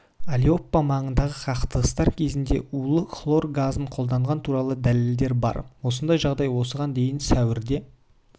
алеппо маңында қақтығыстар кезінде улы хлор газын қолданғаны туралы дәлелдер бар осындай жағдай осыған дейін сәуірде